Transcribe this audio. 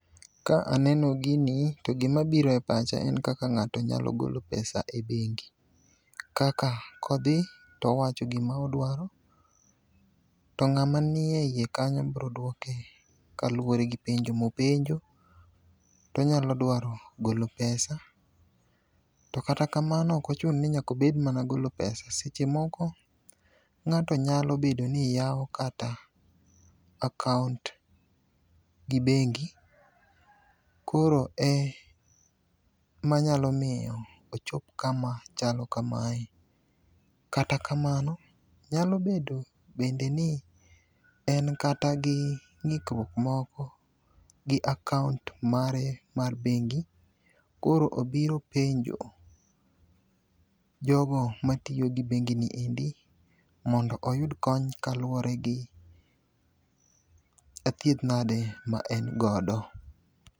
Ka aneno gini to gimabiro e pacha en kaka ng'ato nyalo golo pesa e bengi. Kaka kodhi towacho gima odwaro to ng'ama nie iye kanyo bro dwoke kaluwore gi penjo mopenjo, tonyalo dwaro golo pesa to kata kamano ok ochuno ni nyaka obed mana golo pesa seche moko ng'ato nyalo bedo ni yawo kata akaont gi bengi, koro emanyalo miyo ochop kama chalo kamae. Kata kamano nyalo bedo bende ni en kata gio ng'ikruok moko gi akaont mare mar bengi, koro obiro penjo jogo matiyo gi bengini endi mondo oyud kony kaluwore gi athiedhnade ma en godo.